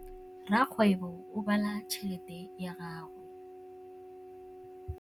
Rakgwêbô o bala tšheletê ya gagwe.